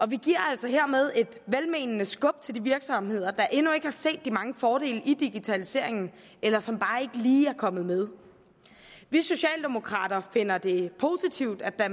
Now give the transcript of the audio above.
vi giver altså hermed et velmenende skub til de virksomheder der endnu ikke har set de mange fordele i digitaliseringen eller som bare ikke lige er kommet med vi socialdemokrater finder det positivt at